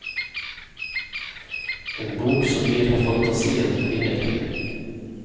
En bok som gir fantasien vinger.